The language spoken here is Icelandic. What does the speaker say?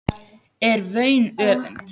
er vaun öfund